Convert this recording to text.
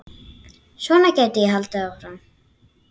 Svona gæti ég haldið áfram.